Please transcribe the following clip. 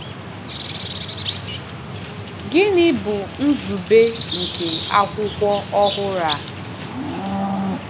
Gịnị bụ nzube nke akwụkwọ ọhụrụ a?